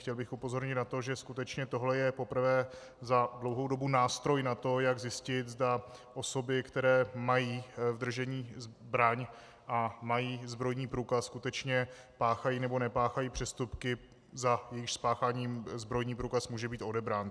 Chtěl bych upozornit na to, že skutečně tohle je poprvé za dlouhou dobu nástroj na to, jak zjistit, zda osoby, které mají v držení zbraň a mají zbrojní průkaz, skutečně páchají nebo nepáchají přestupky, za jejichž spáchání zbrojní průkaz může být odebrán.